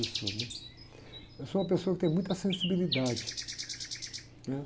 Eu sou, né? Eu sou uma pessoa que tem muita sensibilidade, né?